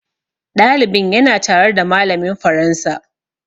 Ɗalibin ya na tare da malamin faransa